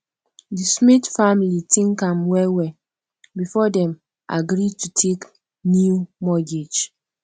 di smith family think am wellwell before dem agree to take new mortgage